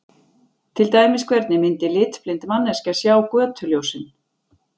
Til dæmis hvernig myndi litblind manneskja sjá götuljósin?